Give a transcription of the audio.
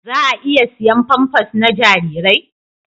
Za a iya siyan famfas na jarirai?